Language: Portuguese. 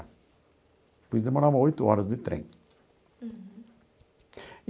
Pois demorava oito horas de trem. Uhum.